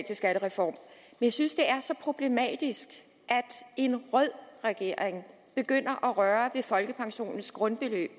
til skattereform jeg synes det er så problematisk at en rød regering begynder at røre ved folkepensionens grundbeløb